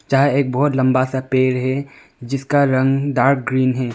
जहां एक बहुत लंबा सा पेड़ है जिसका रंग डार्क ग्रीन है।